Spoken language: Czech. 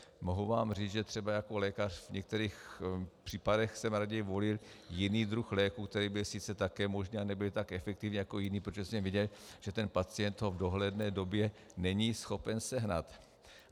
Mohu vám říct, že třeba jako lékař v některých případech jsem raději volil jiný druh léku, který byl sice také možný, ale nebyl tak efektivní jako jiný, protože jsem viděl, že ten pacient ho v dohledné době není schopen sehnat.